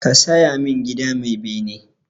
Ka saya min gida mai bene!